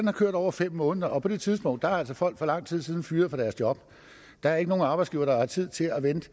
har kørt over fem måneder på det tidspunkt er folk for lang tid siden blevet fyret fra deres job der er ikke nogen arbejdsgiver der har tid til at vente